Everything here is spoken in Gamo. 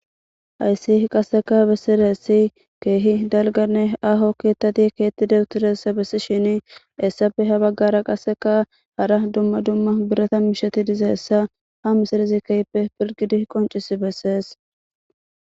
Ayssi qasseka bessiressi keehi dalganne aho keettati keetti dawutiresa bessi shini essafe ha baggara qasseka hara dumma dumma birata misheti dizeessa ha misirezi keyppe pirgidi qoncisi bessees